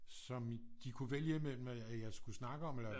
Som de kunne vælge imellem at jeg skulle snakke om eller